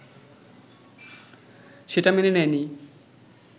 সেটা মেনে নেয়নি